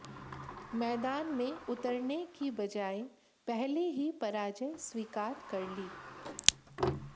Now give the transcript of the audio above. मैदान में उतरने की बजाए पहले ही पराजय स्वीकार कर ली